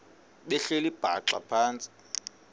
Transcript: behleli bhaxa phantsi